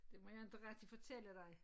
Det må jeg inte rigtig fortælle dig